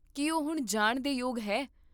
ਕੀ ਉਹ ਹੁਣ ਜਾਣ ਦੇ ਯੋਗ ਹੈ?